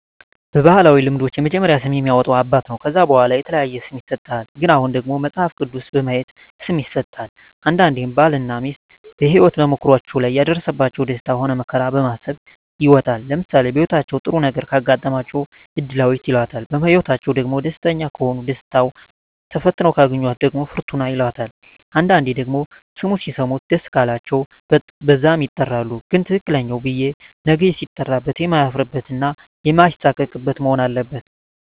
በባህላዊ ልምዶች የመጀመሪያውን ስም የሚያወጣ አባት ነው ከዛ በዋላ የተለያየ ስም ይሰጥሃል ግን አሁን ደግሞ መጸሀፍ ቅዱስ በማየት ስም ይሠጣል አንዳንዴም ባል እና ሜስት በሄወት ተሞክሮዎች ላይ የደረሰባቸው ደስታ ሆነ መከራ በማሰብ ይወጣል ለምሳሌ በህይወታቸው ጥሩ ነገረ ካጋጠማቸው እድላዌት ይላታል በህይወትአቸዉ ደግሞ ደስተኛ ከሆኑ ደስታው ተፈትነው ካገኛት ደግሞ ፍርቱና ይላታል አንዳንዴ ደግሞ ስሙ ሲሰሙት ደስ ቃላቸው በዛም ይጠራሉ ግን ትክክለኛው ብየ ነገ ሲጠራበት የማያፍርበት እና ማይሳቀቅበት መሆን አለበት